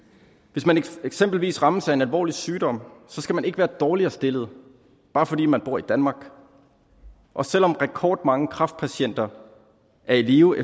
hvis man eksempelvis rammes af en alvorlig sygdom skal man ikke være dårligere stillet bare fordi man bor i danmark og selv om rekordmange kræftpatienter er i live